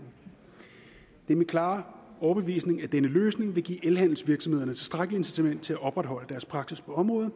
er min klare overbevisning at denne løsning vil give elhandelsvirksomhederne et tilstrækkeligt incitament til at opretholde deres praksis på området